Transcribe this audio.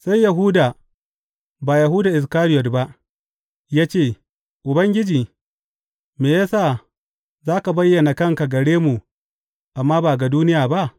Sai Yahuda ba Yahuda Iskariyot ba ya ce, Ubangiji, me ya sa za ka bayyana kanka gare mu amma ba ga duniya ba?